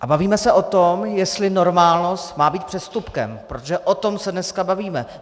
A bavíme se o tom, jestli normálnost má být přestupkem, protože o tom se dneska bavíme.